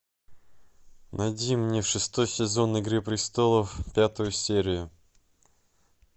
найди мне шестой сезон игры престолов пятую серию